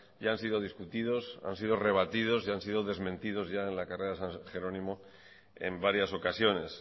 ya han sido discutidos han sido rebatidos y han sido desmentidos ya en la carrera de san jerónimo en varias ocasiones